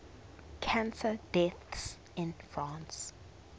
cancer deaths in france